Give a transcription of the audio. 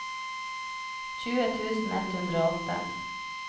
tjue tusen ett hundre og åtte